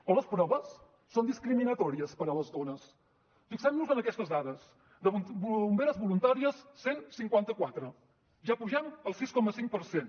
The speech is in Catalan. o les proves són discriminatòries per a les dones fixem nos en aquestes dades de bomberes voluntàries cent i cinquanta quatre ja pugem al sis coma cinc per cent